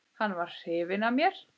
Hann var hrifinn af mér.